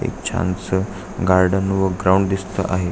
एक छान स् गार्डन व ग्राउंड दिसत आहे.